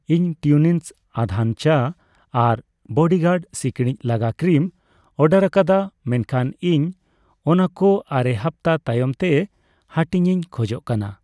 ᱤᱧ ᱴᱣᱤᱱᱤᱝᱥ ᱟᱫᱷᱟᱱ ᱪᱟ ᱟᱨ ᱵᱚᱰᱤᱜᱟᱨᱰ ᱥᱤᱠᱲᱤᱡ ᱞᱟᱜᱟ ᱠᱨᱤᱢ ᱚᱰᱟᱨᱟᱠᱟᱫᱟ ᱢᱮᱱᱠᱷᱟᱱ ᱤᱧ ᱚᱱᱟᱠᱚ ᱟᱨᱮ ᱦᱟᱯᱛᱟ ᱛᱟᱭᱚᱢ ᱛᱮ ᱦᱟᱹᱴᱤᱧᱤᱧ ᱠᱷᱚᱡᱚᱜ ᱠᱟᱱᱟ ᱾